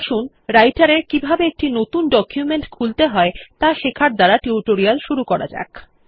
আসুন রাইটের এ কিভাবে একটি নতুন ডকুমেন্ট খুলতে হয় ত়া শেখার দ্বারা টিউটোরিয়াল শুরু করা যাক